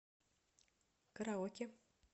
караоке